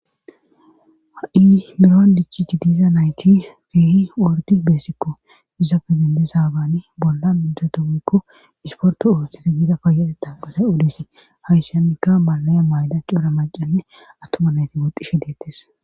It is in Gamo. Ha7i merowan dichi i diza nayti fiihi wordi beesikko dizappi dendesaabani bolla udedomykko isporto oothteti miida payeteda bolay udese hayssyanikka malaya mayda coura maqanne attoma nayti boxishe deettes